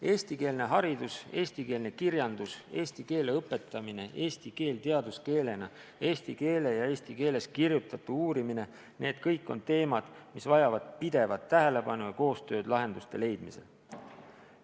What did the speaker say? Eestikeelne haridus, eestikeelne kirjandus, eesti keele õpetamine, eesti keel teaduskeelena, eesti keele ja eesti keeles kirjutatu uurimine – need kõik on teemad, mis vajavad pidevat tähelepanu ja koostööd lahenduste leidmisel.